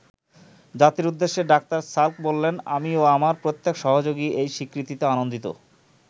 জাতির উদ্দেশ্যে doctor Salk বললেন আমি ও আমার প্রত্যেক সহযোগী এই স্বীকৃতিতে আনন্দিত।